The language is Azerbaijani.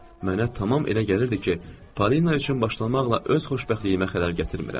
Mənə tamam elə gəlirdi ki, Polina üçün başlamaqla öz xoşbəxtliyimə xələl gətirmirəm.